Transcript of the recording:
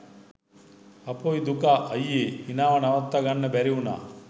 හපොයි දුකා අයියේ හිනාව නවත්තගන්න බැරි උනා.